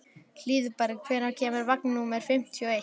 Hlíðberg, hvenær kemur vagn númer fimmtíu og eitt?